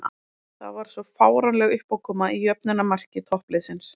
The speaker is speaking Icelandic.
Það var svo fáránleg uppákoma í jöfnunarmarki toppliðsins.